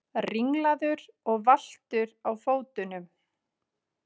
Ringlaður og valtur á fótunum.